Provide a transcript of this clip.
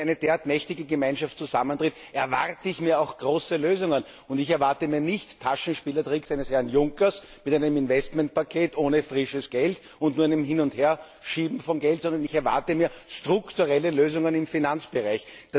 Wenn eine derart mächtige Gemeinschaft zusammentritt, erwarte ich auch große Lösungen, und ich erwarte nicht Taschenspielertricks eines Herrn Juncker mit einem Investmentpaket ohne frisches Geld und nur einem Hin und Herschieben von Geld, sondern ich erwarte strukturelle Lösungen im Finanzbereich.